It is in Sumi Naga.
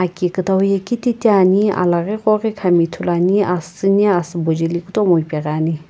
aki kutow ye kititi ane alaghi koghi khan ithulu nae asii astsiini ithulu ane.